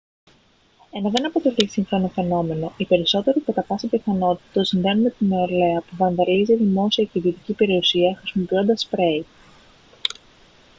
ενώ δεν αποτελεί σύγχρονο φαινόμενο οι περισσότεροι κατά πάσα πιθανότητα το συνδέουν με τη νεολαία που βανδαλίζει δημόσια και ιδιωτική περιουσία χρησιμοποιώντας σπρέι